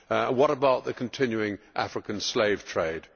What about the continuing African slave trade?